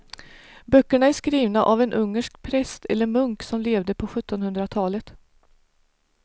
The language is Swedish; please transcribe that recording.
Böckerna är skrivna av en ungersk präst eller munk som levde på sjuttonhundratalet.